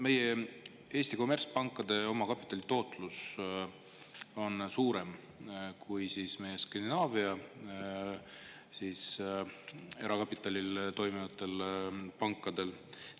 Meie Eesti kommertspankade omakapitali tootlus on suurem kui Skandinaavia erakapitalil pankadel.